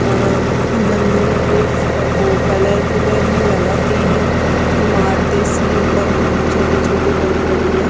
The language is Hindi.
अ मंदिर में कोई वो कलर कूलर नहीं लगा तीन इमारतें सी ऊपर छोटी छोटी बनी पड़ी है।